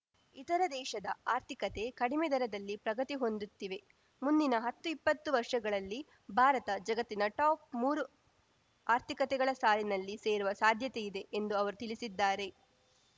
ಇತರ ದೇಶದ ಆರ್ಥಿಕತೆ ಕಡಿಮೆ ದರದಲ್ಲಿ ಪ್ರಗತಿ ಹೊಂದುತ್ತಿವೆ ಮುಂದಿನ ಹತ್ತುಇಪ್ಪತ್ತು ವರ್ಷಗಳಲ್ಲಿ ಭಾರತ ಜಗತ್ತಿನ ಟಾಪ್‌ ಮೂರು ಆರ್ಥಿಕತೆಗಳ ಸಾಲಿನಲ್ಲಿ ಸೇರುವ ಸಾಧ್ಯತೆಯಿದೆ ಎಂದು ಅವರು ತಿಳಿಸಿದ್ದಾರೆ